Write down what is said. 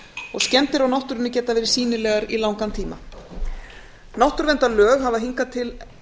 og skemmdir á náttúrunni geta verið sýnilegar í langan tíma náttúruverndarlög hafa hingað til